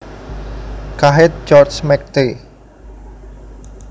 Kahin George McT